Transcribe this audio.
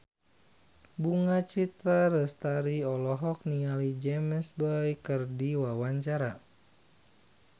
Bunga Citra Lestari olohok ningali James Bay keur diwawancara